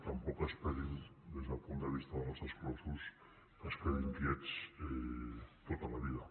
tampoc esperin des del punt de vista dels exclosos que es quedin quiets tota la vida